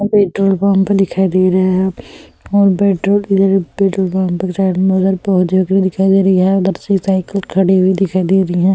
Petrol pump दिखाई दे रहे है और पेट्रोल के जगह पेट्रोल पंप के साइड में उधर पौधे भी दिखाई दे रही है। उधर से ही साइकिल खड़ी हुई दिखाई दे रही है।